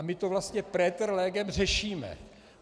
A my to vlastně praeter legem řešíme.